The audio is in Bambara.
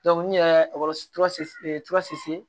n yɛrɛ kɔrɔ se